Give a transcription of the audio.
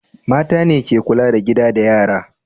Mata ne ke kula da gida da yara.